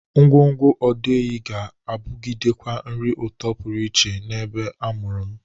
Ngwọngwọ ọdọ ehi ga-abụgidekwa nri ụtọ pụrụ iche n'ebe a mụrụ m.